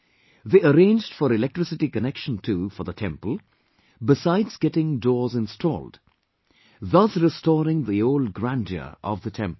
They arranged for electricity connection too for the temple besides getting doors installed, thus restoring the old grandeur of the temple